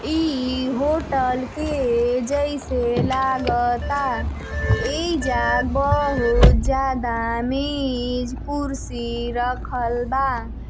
ई होटल के जइसे लागता। एहिजा बहुत ज्यादा मेज़ कुर्सी रखल बा |